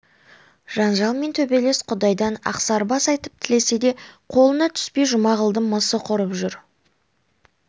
жанжал мен төбелес құдайдан ақсарбас айтып тілесе де қолына түспей жұмағұлдың мысы құрып жүр